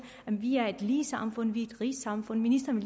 at vi er et lige samfund vi er et rigt samfund ministeren